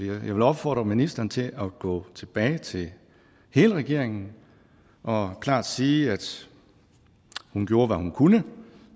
vil opfordre ministeren til at gå tilbage til hele regeringen og klart sige at hun gjorde hvad hun kunne